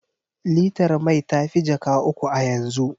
Litar mai ta fi jaka uku a yanzu.